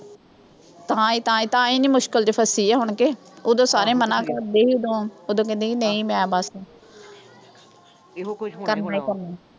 ਤਾਈਂ-ਤਾਈਂ ਤਾਂ ਹੀ ਇੰਨੀ ਮੁਸ਼ਕਿਲ ਚ ਫਸੀ ਆ ਹੁਣ ਕਿ, ਉਦੋਂ ਸਾਰੇ ਮਨ੍ਹਾ ਕਰਦੇ ਸੀ, ਉਦੋਂ ਕਹਿੰਦੀ ਵੀ ਨਈਂ ਮੈਂ ਬਸ, ਕਰਨਾ ਈ ਕਰਨਾ।